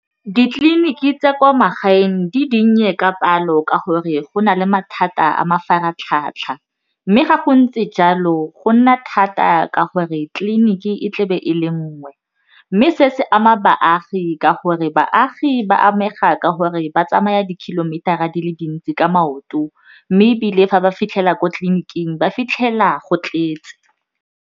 Ditleliniki tsa kwa magaeng di dinnye ka palo ka gore go na le mathata a mafaratlhatlha, mme ga go ntse jalo go nna thata ka gore tleliniki e tle be e le nngwe mme se se ama baagi ka gore baagi ba amega ka gore ba tsamaya di-kilometer-ra di le dintsi ka maoto mme ebile fa ba fitlhela ko tleliniking ba fitlhela go tletse.